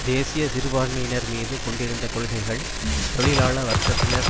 தேசிய சிறுபான்மையினர் மீது கொண்டிருந்த கொள்கைகள் தொழிலாள வர்க்கத்தினர்